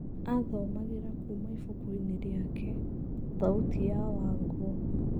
Athomagĩra kũma ibukuinĩ rĩake, thauti ya Wangũ.